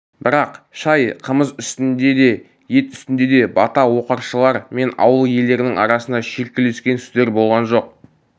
бірақ шай қымыз үстінде де ет үстінде де бата оқыршылар мен ауыл иелерінің арасында шүйіркелескен сөздер болған жоқ